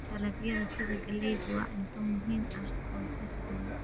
Dalagyada sida galleydu waa cunto muhiim ah qoysas badan.